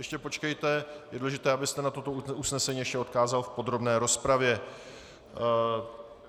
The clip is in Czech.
Ještě počkejte, je důležité, abyste na toto usnesení ještě odkázal v podrobné rozpravě.